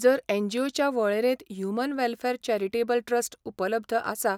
जर एनजीओच्या वळेरेंत ह्यूमन वॅलफॅर चॅरिटेबल ट्रस्ट उपलब्ध आसा